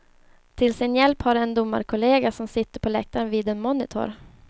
Till sin hjälp har de en domarkollega som sitter på läktaren vid en monitor.